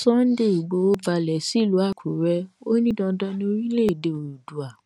sunday ìgbòho balẹ̀ sílùú àkúrẹ́ ó ní dandan ni orílẹ̀èdè oòduà